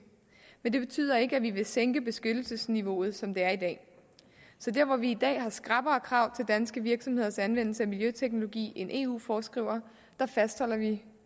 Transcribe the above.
men det betyder ikke at vi vil sænke beskyttelsesniveauet som det er i dag så der hvor vi i dag har skrappere krav til danske virksomheders anvendelse af miljøteknologi end eu foreskriver fastholder vi